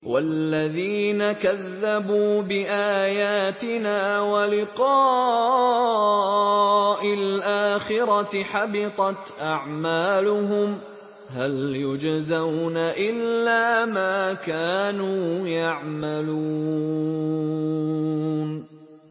وَالَّذِينَ كَذَّبُوا بِآيَاتِنَا وَلِقَاءِ الْآخِرَةِ حَبِطَتْ أَعْمَالُهُمْ ۚ هَلْ يُجْزَوْنَ إِلَّا مَا كَانُوا يَعْمَلُونَ